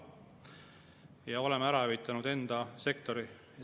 Me oleme enda sektori ära hävitanud.